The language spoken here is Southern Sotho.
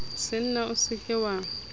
senna o se ke wa